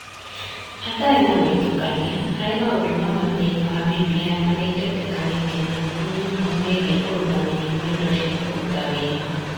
Hatarĩ na gwĩtukania, harĩ maũndũ mamwe thĩinĩ wa BBI marĩa itetĩkanĩire namo nĩ ũhoro wĩgiĩ ũrũgamĩrĩri na indo cia kũruta wĩra.